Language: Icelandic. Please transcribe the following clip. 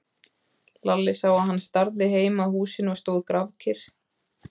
Lalli sá að hann starði heim að húsinu og stóð grafkyrr.